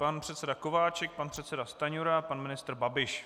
Pan předseda Kováčik, pan předseda Stanjura, pan ministr Babiš.